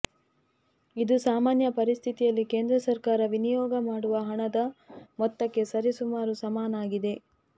ಇದು ಸಾಮಾನ್ಯ ಪರಿಸ್ಥಿತಿಯಲ್ಲಿ ಕೇಂದ್ರ ಸರ್ಕಾರ ವಿನಿಯೋಗ ಮಾಡುವ ಹಣದ ಮೊತ್ತಕ್ಕೆ ಸರಿಸುಮಾರು ಸಮನಾಗಿದೆ